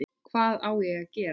Hvað á ég að gera?